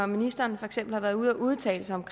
når ministeren for eksempel har været ude at udtale sig om